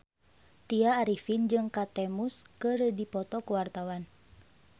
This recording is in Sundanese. Tya Arifin jeung Kate Moss keur dipoto ku wartawan